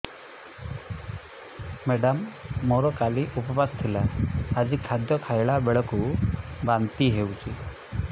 madam ମୋର କାଲି ଉପବାସ ଥିଲା ଆଜି ଖାଦ୍ୟ ଖାଇଲା ବେଳକୁ ବାନ୍ତି ହେଊଛି